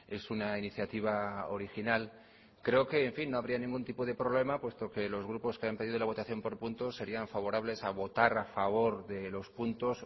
es una iniciativa original creo que no habría ningún tipo de problema puesto que los grupos que han pedido la votación por puntos serían favorables a votar a favor de los puntos